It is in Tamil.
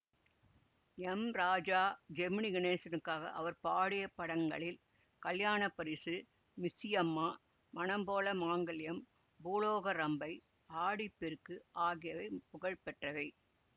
எம் ராஜா ஜெமினி கணேசனுக்காக அவர் பாடிய படங்களில் கல்யாணப்பரிசு மிஸ்ஸியம்மா மனம் போல மாங்கல்யம் பூலோக ரம்பை ஆடிப்பெருக்கு ஆகியவை புகழ்பெற்றவை